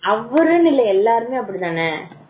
சொல்லி இருக்கேன் அவரும் இல்ல எல்லாருமே அப்படித்தானே